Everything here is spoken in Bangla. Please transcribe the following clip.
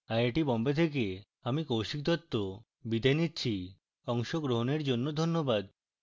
আই আই টী বোম্বে থেকে আমি কৌশিক দত্ত বিদায় নিচ্ছি অংশগ্রহনের জন্য ধন্যবাদ